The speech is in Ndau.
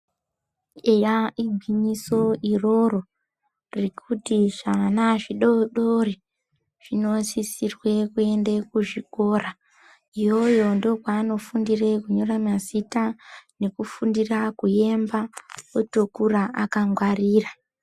Eya igwinyiso iroro rekuti zvana zvidodori zvinosisirwe kuende kuzvikora yoyo ndokwandofundire kunyora mazita nekufundira kuyemba otokura akangarira.